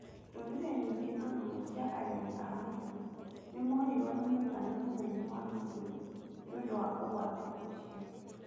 Ndũrĩrĩ nyingĩ na mũno cia areri a mahiũ nĩmorirwo nĩ mũigana mũnene wa mahiũ nĩũndũ wa ũgwati ũcio.